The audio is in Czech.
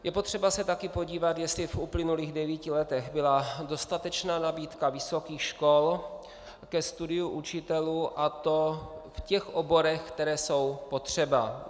Je potřeba se taky podívat, jestli v uplynulých devíti letech byla dostatečná nabídka vysokých škol ke studiu učitelů, a to v těch oborech, které jsou potřeba.